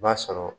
I b'a sɔrɔ